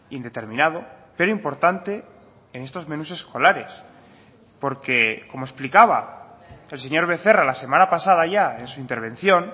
indeterminado pero importante en estos menús escolares porque como explicaba el señor becerra la semana pasada ya en su intervención